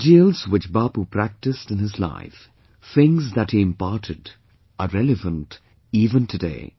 The ideals which Bapu practiced in his life, things that he imparted are relevant even today